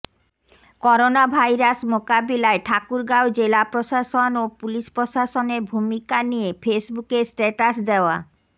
coronavirus মোকাবিলায় ঠাকুরগাঁও জেলা প্রশাসন ও পুলিশ প্রশাসনের ভূমিকা নিয়ে ফেসবুকে স্ট্যাটাস দেয়া